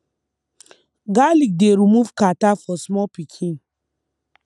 garlic dey remove catarrh for small pikin